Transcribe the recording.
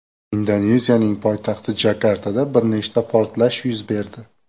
Indoneziyaning poytaxti Jakartada bir nechta portlash yuz berdi.